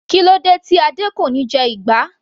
Kílódé tí Adé kò níí jẹ ìgbá.